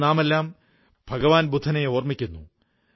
ഇന്ന് നാമെല്ലാം ഭഗവാൻ ബുദ്ധനെ ഓർമ്മിക്കുന്നു